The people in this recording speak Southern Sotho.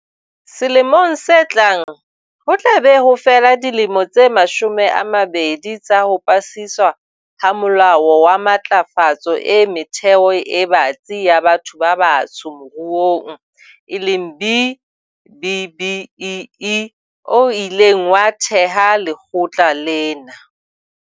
Selemong se tlang, ho tla be ho fela dilemo tse mashome a mabedi tsa ho pasiswa ha Molao wa Matlafatso e Metheo e Batsi ya Batho ba Batsho Moruong eleng B-BBEE o ileng wa theha lekgotla lena.